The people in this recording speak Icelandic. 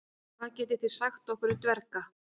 hvað getið þið sagt okkur um dverga